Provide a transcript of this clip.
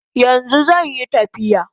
Yanzu zanyi tafiya